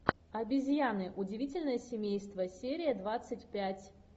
обезьяны удивительное семейство серия двадцать пять